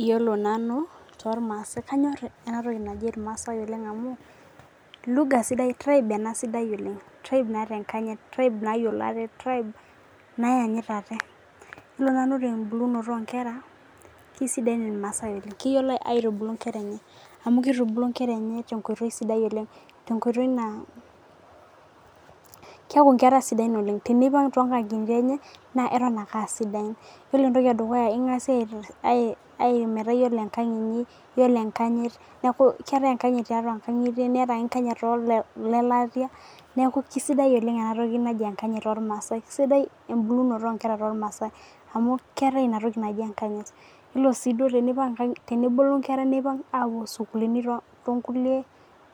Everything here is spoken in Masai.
Iyiolo naubtormaasai kanyor enatoki naji irmaasai na teibe naata enkanyit tribe nayiolo ate traib nayiolo aate yiolo nanu tembulunoto onkera na kesidai irmaasai tembulunoto enkera oleng amu kitubuku nkera tenkoitoi sidai oleng keaku nkera sidan ata tonkangitie enye eton ake aasidan yiolo entoki edukuya na kengasa aaku iyiolo enkang inyi neaku keetae enkanyit tiatua nkangitie neetae tiatua elatia neaku kesidai oleng enatoki naji emkanyit tormaasai keetae entoki naji enkanyityiolo si tenebulu nkera apuo sukulini tonkulie